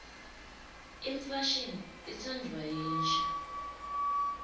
imfashini itsandvwa yinsha